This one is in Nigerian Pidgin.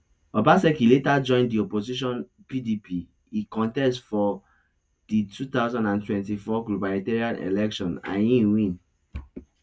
obaseki later join di opposition pdp e contest for di two thousand and twenty-four gubernatorial election and e win